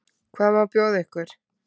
Hvað má bjóða ykkur?